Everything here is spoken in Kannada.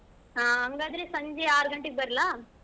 ಹಾ ಹಂಗಾದ್ರೆ ಸಂಜೆ ಆರ್ ಗಂಟೆಗೆ ಬರ್ಲಾ?